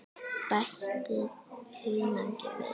Bætið hunangi við.